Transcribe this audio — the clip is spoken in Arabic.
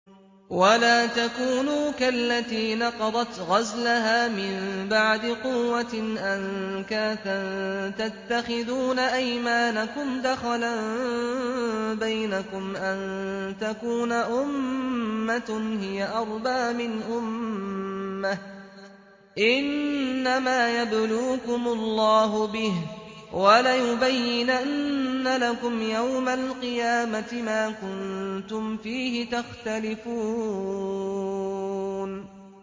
وَلَا تَكُونُوا كَالَّتِي نَقَضَتْ غَزْلَهَا مِن بَعْدِ قُوَّةٍ أَنكَاثًا تَتَّخِذُونَ أَيْمَانَكُمْ دَخَلًا بَيْنَكُمْ أَن تَكُونَ أُمَّةٌ هِيَ أَرْبَىٰ مِنْ أُمَّةٍ ۚ إِنَّمَا يَبْلُوكُمُ اللَّهُ بِهِ ۚ وَلَيُبَيِّنَنَّ لَكُمْ يَوْمَ الْقِيَامَةِ مَا كُنتُمْ فِيهِ تَخْتَلِفُونَ